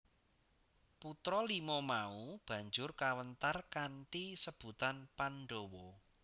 Putra lima mau banjur kawentar kanthi sebutan Pandhawa